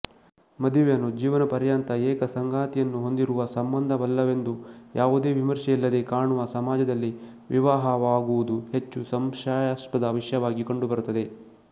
ಮದುವೆಯನ್ನು ಜೀವನಪರ್ಯಂತ ಏಕ ಸಂಗಾತಿಯನ್ನು ಹೊಂದಿರುವ ಸಂಬಂಧವಲ್ಲವೆಂದು ಯಾವುದೇ ವಿಮರ್ಶೆಯಿಲ್ಲದೆ ಕಾಣುವ ಸಮಾಜದಲ್ಲಿ ವಿವಾಹವಾಗುವುದು ಹೆಚ್ಚು ಸಂಶಯಾಸ್ಪದ ವಿಷಯವಾಗಿ ಕಂಡುಬರುತ್ತದೆ